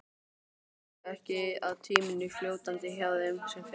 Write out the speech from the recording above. Veistu ekki að tíminn er fljótandi hjá þeim sem fer.